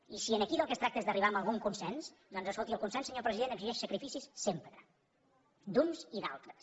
i si aquí del que es tracta és d’arribar a algun consens doncs escolti el consens senyor president exigeix sacrificis sempre d’uns i d’altres